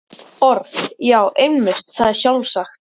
Orð.- Já, einmitt, það er sjálfsagt.